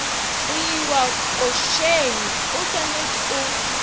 go iwa košeng oswanetše o